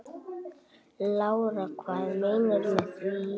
Lára: Hvað meinarðu með því?